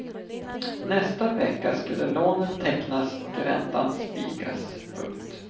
Nästa vecka skulle lånet tecknas och räntan spikas. punkt